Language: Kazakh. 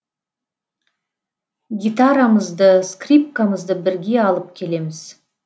гитарамызды скрипкамызды бірге алып келеміз